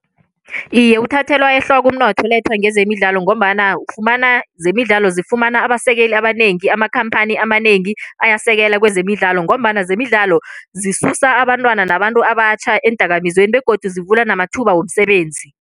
Iye, uthathelwa ehloko umnotho olethwa ngezemidlalo ngombana ufumana zemidlalo zifumane abasekeli abanengi, amakhamphani amanengi ayasekela kwezemidlalo ngombana zemidlalo zisusa abantwana nabantu abatjha eendakamizweni begodu zivula namathuba womsebenzi.